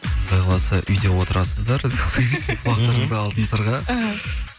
құдай қаласа үйде отрасыздар құлақтарыңызға алтын сырға іхі